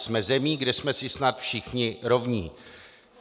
Jsme zemí, kde jsme si snad všichni rovni.